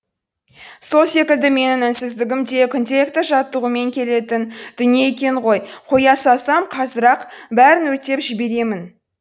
сол секілді менің үнсіздігім де күнделікті жаттығумен келетін дүние екен ғой қоя салсам қазір ақ бәрін өртеп жіберемін